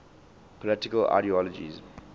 political ideologies